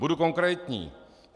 Budu konkrétní.